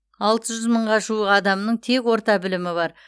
алты жүз мыңға жуық адамның тек орта білімі бар